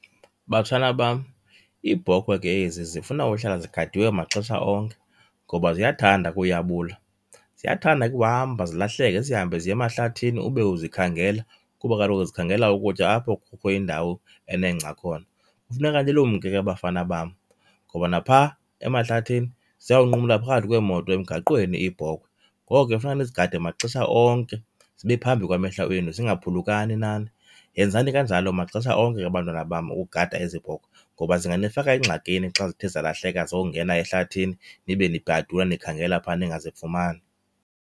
Batshana bam, iibhokhwe ke ezi zifuna uhlala zigadiwe maxesha onke ngoba ziyathanda ukuyabula. Ziyathanda ke uhamba, zilahleke zihambe ziye emahlathini ube uzikhangela kuba kaloku zikhangela ukutya apho kukho indawo enengca khona. Kufuneka nilumke ke bafana bam, ngoba napha emahlathini ziyawunqumla phakathi kweemoto emgaqweni iibhokhwe, ngoko ke funeka nizigade maxesha onke zibe phambi kwamehlo enu zingaphulukani nani. Yenzani kanjalo maxesha onke ke bantwana bam ukugada ezi bhokhwe ngoba zinganifaka engxakini xa zithe zalahleka zayongena ehlathini nibe nibhadula nikhangela pha ningazifumani.